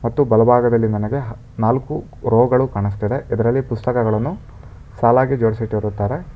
ಮತ್ತು ಬಲಭಾಗದಲ್ಲಿ ನನಗೆ ನಾಲ್ಕು ರೋಗಳು ಕಾಣಿಸ್ತಿದೆ ಇದರಲ್ಲಿ ಪುಸ್ತಕಗಳನ್ನು ಸಾಲಾಗಿ ಜೋಡಿಸಿಟ್ಟಿರುತ್ತಾರೆ.